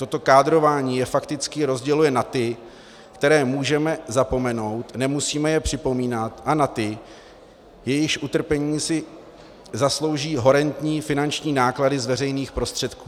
Toto kádrování je fakticky rozděluje na ty, které můžeme zapomenout, nemusíme je připomínat, a na ty, jejichž utrpení si zaslouží horentní finanční náklady z veřejných prostředků.